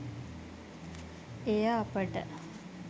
එය අපට